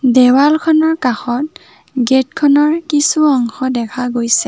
দেৱালখনৰ কাষত গেট খনৰ কিছু অংশ দেখা গৈছে।